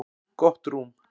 Gott rúm.